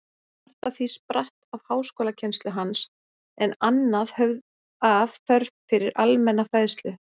Margt af því spratt af háskólakennslu hans, en annað af þörf fyrir almenna fræðslu.